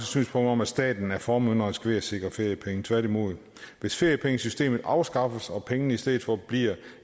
synspunkt om at staten er formynderisk ved at sikre feriepenge tværtimod hvis feriepengesystemet afskaffes og pengene i stedet for bliver